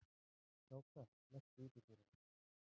Kráka, læstu útidyrunum.